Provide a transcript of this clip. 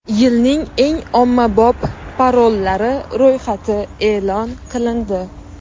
Yilning eng ommabop parollari ro‘yxati e’lon qilindi.